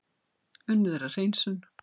Unnið er að hreinsun